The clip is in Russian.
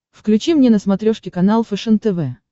включи мне на смотрешке канал фэшен тв